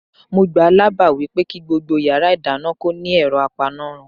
Mo gbáà lábàá wípé kí gbogbo yàrá ìdáná kó ní ẹ̀rọ apanárun.